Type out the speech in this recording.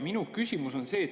Minu küsimus on see.